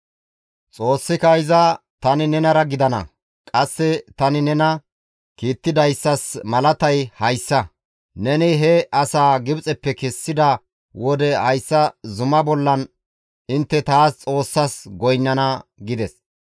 Xoossika iza, «Tani nenara gidana; qasse tani nena kiittidayssas malatay hayssa; neni he asaa Gibxeppe kessida wode hayssa zuma bollan intte taas Xoossas goynnana» gides.